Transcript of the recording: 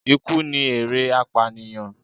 Ikú ni èrè apànìyàn.